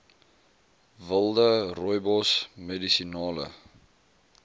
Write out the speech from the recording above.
wilde rooibos medisinale